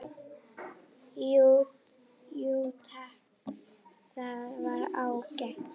Jú takk, það var ágætt